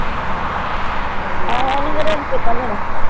ਆਹੋ ਓਹਨੂੰ ਮੇਰਾ ਨੀ ਦੇਣਾ